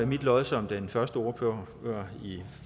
mit lod som den første ordfører i